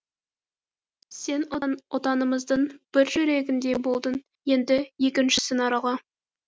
сен отанымыздың бір жүрегінде болдың енді екіншісін арала